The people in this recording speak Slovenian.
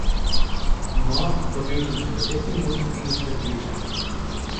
No, dobil sem še deset minut in jih prepričal.